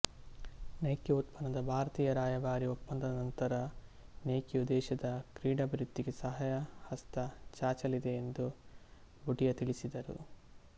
Nike ಉತ್ಪನ್ನದ ಭಾರತೀಯ ರಾಯಭಾರಿ ಒಪ್ಪಂದದ ನಂತರ ನೈಕಿಯು ದೇಶದ ಕ್ರೀಡಾಭಿವೃದ್ಧಿಗೆ ಸಹಾಯ ಹಸ್ತ ಚಾಚಲಿದೆ ಎಂದು ಭುಟಿಯಾ ತಿಳಿಸಿದರು